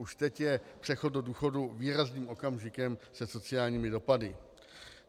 Už teď je přechod do důchodu výrazným okamžikem se sociálními dopady.